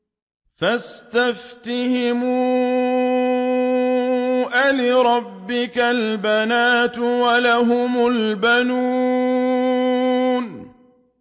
فَاسْتَفْتِهِمْ أَلِرَبِّكَ الْبَنَاتُ وَلَهُمُ الْبَنُونَ